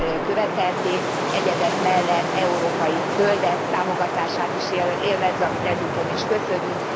követelték, egyebek mellett európai zöldek támogatását is élvezve, amit ezúton is köszönök.